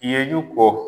Ye jugu